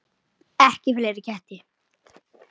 Ekki fleiri ketti.